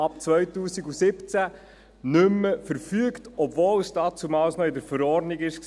Ab 2017 verfügte man nicht mehr, obwohl dies damals noch in der Verordnung war.